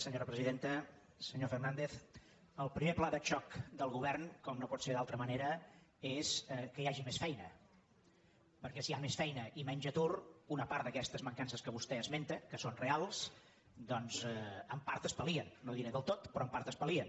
senyor fernàndez el primer pla de xoc del govern com no pot ser d’altra manera és que hi hagi més feina perquè si hi ha més feina i menys atur una part d’aquestes mancances que vostè esmenta que són reals doncs en part es pal no diré del tot però en part es pal·lien